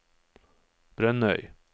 Brønnøy